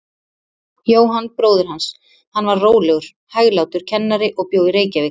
Jóhann bróðir hans, hann var rólegur, hæglátur kennari og bjó í Reykjavík.